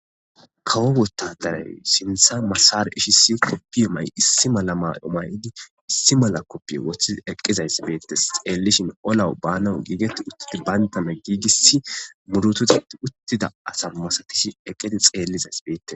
Kawo wottadaray sintha masare ishisi koppi ma'y issi mala ma omay'di issi mala koppi woththi eqqizays beettes xeellishin olawu banawu giigetti uttidi bayntame giigiss murutuzatti uttida asa masatish eqqidi xeellizays beette